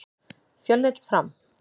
Fjölnir- Fram